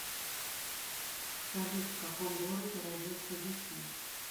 салют в каком городе родился вицин